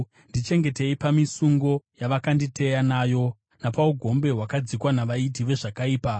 Ndichengetei pamisungo yavakanditeya nayo, napaugombe hwakadzikwa navaiti vezvakaipa.